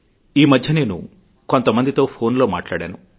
ఈ మధ్య నేను కొంత మందితో ఫోన్ లో మాట్లాడాను